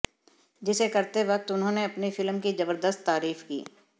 जिसे करते वक्त उन्होंने अपनी फिल्म की जबरदस्त तारीफ की